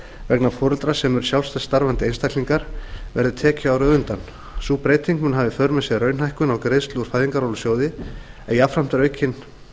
vegna foreldra sem eru sjálfstætt starfandi einstaklingar verði tekjuárið á undan sú breyting mun hafa í för með sér raunhækkun á greiðslu úr fæðingarorlofssjóði en jafnframt er aukin